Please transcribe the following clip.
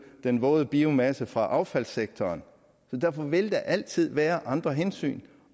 den våde biomasse fra affaldssektoren derfor vil der altid være andre hensyn